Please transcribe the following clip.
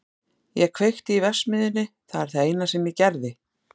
Ég kveikti í verksmiðjunni, það er það eina sem ég gerði.